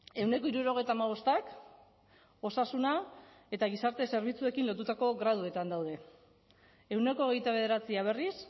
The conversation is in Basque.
ehuneko hirurogeita hamabostak osasuna eta gizarte zerbitzuekin lotutako graduetan daude ehuneko hogeita bederatzia berriz